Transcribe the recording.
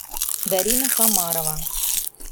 дарина хамарова